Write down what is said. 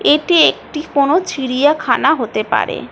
এটি একটি কোন চিরিয়াখানা হতে পারে।